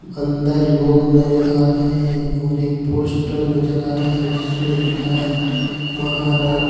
अंदर लोग नजर आ रहे हैं और एक पोस्टर नज़र आ रहा है जिसमे लिखा है महाराणा --